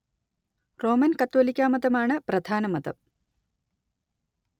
Roman‍ കത്തോലിക്കാ മതം ആണ് പ്രധാന മതം